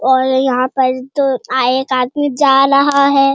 और यहाँ पर तो आए एक आदमी जा रहा है।